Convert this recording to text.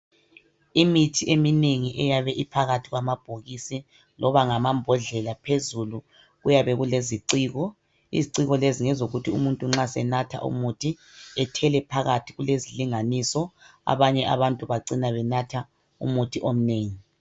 Imithi eminengi eyabe iphakathi kwamabhokisi loba ngama mbodlela .Phezulu kuyabe kuleziciko .Iziciko lezi ngezokuthi umuntu nxa senatha umuthi. Ethele phakathi kulezilinganiso ,abanye abantu bacina benatha umuthi omnengi .